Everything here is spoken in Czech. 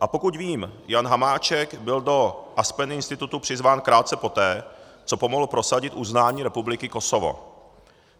A pokud vím, Jan Hamáček byl do Aspen Institutu přizván krátce poté, co pomohl prosadit uznání Republiky Kosovo.